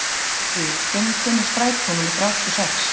Málmfríður, hvenær kemur strætó númer þrjátíu og sex?